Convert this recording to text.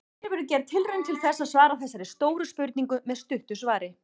Hér verður gerð tilraun til þess að svara þessari stóru spurningu með stuttu svari.